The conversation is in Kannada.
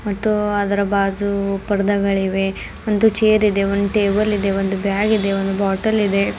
ಮತ್ತು ಅದರ ಭಾಜು ಪರ್ದಗಳಿವೆ ಒಂದು ಚೇರ್ ಇದೆ ಒಂದ್ ಟೇಬಲ್ ಇದೆ ಒಂದು ಬ್ಯಾಗ್ ಒಂದು ಬಾಟಲ್ ಇದೆ.